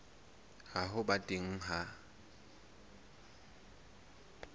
ya ho ba teng ha